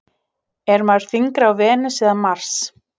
Er maður þyngri á Venus eða Mars?